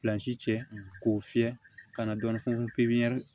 Pilansi cɛ k'o fiyɛ ka na dɔɔnin pipiniyɛri